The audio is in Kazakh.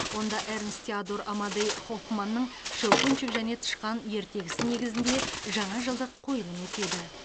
онда эрнст теодор амадей хоффманның щелкунчик және тышқан ертегісі негізінде жаңа жылдық қойылым өтеді